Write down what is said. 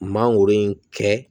Mangoro in kɛ